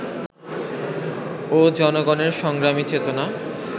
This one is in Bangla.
ও জনগণের সংগ্রামী চেতনা